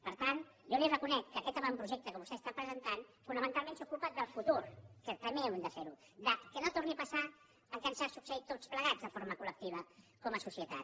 per tant jo li reconec que aquest avantprojecte que vostè està presentant fonamentalment s’ocupa del fu·tur que també hem de fer·ho que no torni a passar el que ens ha succeït a tots plegats de forma col·lectiva com a societat